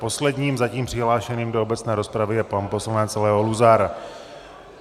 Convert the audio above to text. Posledním zatím přihlášeným do obecné rozpravy je pan poslanec Leo Luzar.